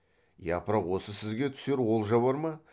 япыр ау осы сізге түсер олжа бар ма